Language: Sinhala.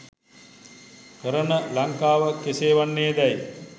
කරන ලංකාව කෙසේ වන්නේ දැයි